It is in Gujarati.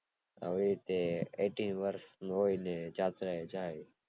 હવેય તે એઇટી વર્ષ ને જાત્રા એ જાય